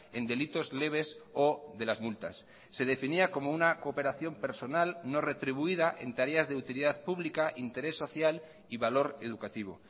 en delitos leves o de las multas se definía como una cooperación personal no retribuida en tareas de utilidad pública interés social y valor educativo